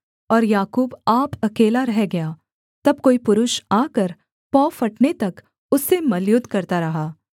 और याकूब आप अकेला रह गया तब कोई पुरुष आकर पौ फटने तक उससे मल्लयुद्ध करता रहा